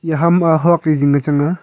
ya ham a huak ley zingka chang a.